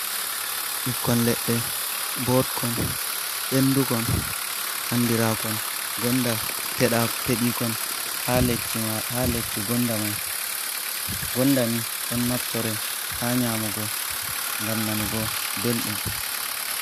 Ɓikkon leɗɗe mbodkon, ɓendukon, anndiraakon gonda, peɗiikon haa lekki gonda mai. Gonda ni ɗon naftore haa nyamugo, ngam nanugo belɗum.